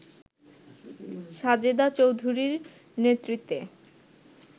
সাজেদা চৌধুরীর নেতৃত্বে